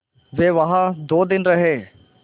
वे वहाँ दो दिन रहे